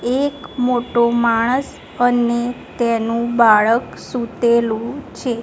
એક મોટો માણસ અને તેનુ બાળક સુતેલુ છે.